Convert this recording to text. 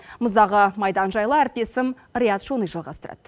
мұздағы майдан жайлы әріптесім риат шони жалғастырады